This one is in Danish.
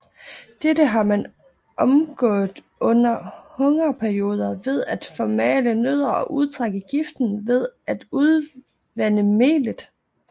Dette har man omgået under hungerperioder ved at formale nødderne og udtrække giften ved at udvande melet